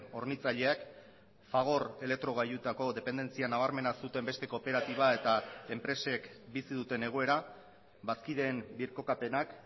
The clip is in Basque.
hornitzaileak fagor elektrogailutako dependentzia nabarmena zuten beste kooperatiba eta enpresek bizi duten egoera bazkideen birkokapenak